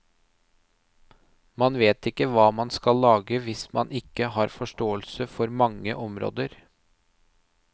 Man vet ikke hva man skal lage hvis man ikke har forståelse for mange områder.